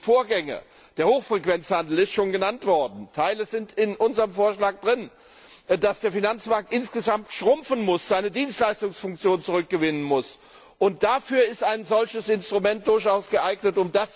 Dafür der Hochfrequenzhandel ist schon genannt worden, Teile sind in unserem Vorschlag drin dass der Finanzmarkt insgesamt schrumpfen muss, seine Dienstleistungsfunktion zurückgewinnen muss, um das zu erreichen, ist ein solches Instrument durchaus geeignet.